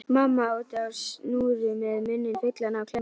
Mamma úti á snúru með munninn fullan af klemmum.